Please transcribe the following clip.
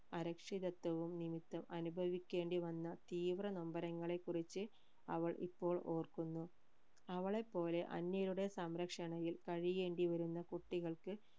അരക്ഷിതത്വവും നിമിത്തം അനുഭവിക്കേണ്ടി വന്ന തീവ്ര നൊമ്പരങ്ങളെ കുറിച് അവൾ ഇപ്പോൾ ഓർക്കുന്നു അവളെപോലെ അന്യരുടെ സംരക്ഷണയിൽ കഴിയേണ്ടി വരുന്ന കുട്ടികൾക്ക്